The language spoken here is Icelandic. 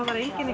enginn